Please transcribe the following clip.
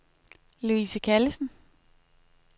Louise Callesen